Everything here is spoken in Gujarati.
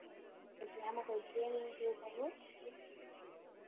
પછી આમાં કઈ ટ્રેનીંગ કે આવું કઈ હોય